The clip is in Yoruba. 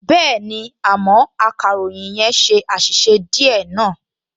Bẹ́ẹ̀ni, àmọ́ akàròyìn yẹn ṣe àṣìṣe díẹ̀ náà